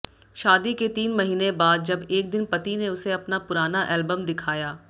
शादी के तीन महीने बाद जब एक दिन पति ने उसे अपना पुराना एल्बम दिखाया